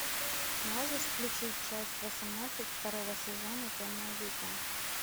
можешь включить часть восемнадцать второго сезона темное дитя